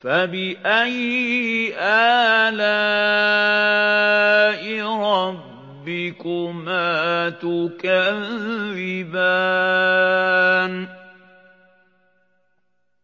فَبِأَيِّ آلَاءِ رَبِّكُمَا تُكَذِّبَانِ